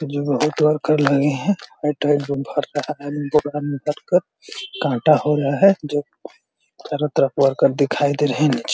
जो बहुत वर्कर लगे हैं काटा हो रहा है जो चारों तरफ वर्कर दिखाई दे रहे हैं नीचे --